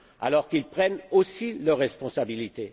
Alors, qu'ils prennent aussi leurs responsabilités!